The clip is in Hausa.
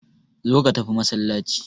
Zo ka tafi masallaci.